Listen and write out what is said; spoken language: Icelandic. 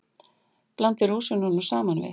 Blandið rúsínunum saman við.